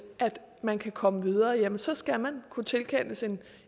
at man kan komme videre ja så skal man kunne tilkendes